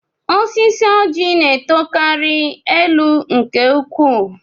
Osisi Ọjị na-etokarị elu nke ukwuu